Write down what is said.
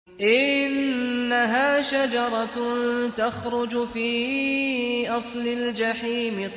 إِنَّهَا شَجَرَةٌ تَخْرُجُ فِي أَصْلِ الْجَحِيمِ